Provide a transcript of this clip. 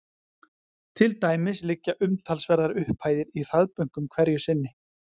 Til dæmis liggja umtalsverðar upphæðir í hraðbönkum hverju sinni.